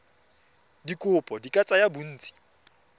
dikopo di ka tsaya bontsi